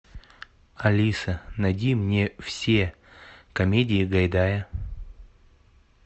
алиса найди мне все комедии гайдая